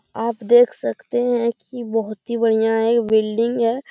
आप देख सकते है की बहुत ही बढ़िया एक बिल्डिंग है।